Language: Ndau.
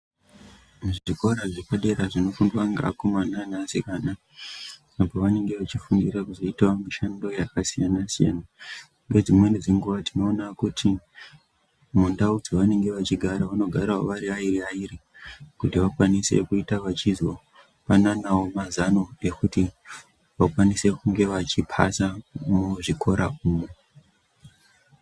Zvikora zvepadera zvinofundwa ngeakomana neasikana apo vanenge vechifundira kuzoitawo mishando yakasiyana-siyana. Nedzimweni dzenguwa tinoona kuti mundau dzavanenge vachigara vanogarawo vari vairi vairi kuti vakwanisewo kukwanisa kuzopananawo mazano ekuti vakwanise kunge vachizopasa muzvikora umu.